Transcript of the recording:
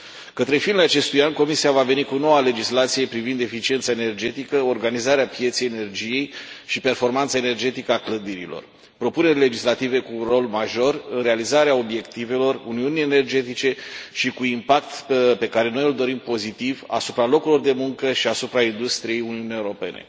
Către finele acestui an, Comisia va veni cu noua legislație privind eficiența energetică, organizarea pieței energiei și performanța energetică a clădirilor propuneri legislative cu un rol major în realizarea obiectivelor uniunii energetice și cu impact pe care noi îl dorim pozitiv asupra locurilor de muncă și asupra industriei Uniunii Europene.